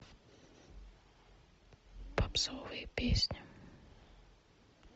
попсовые песни